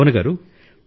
భావన గారూ